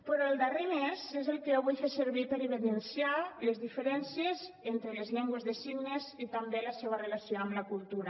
però el darrer mes és el que jo vull fer servir per evidenciar les diferències entre les llengües de signes i també la seva relació amb la cultura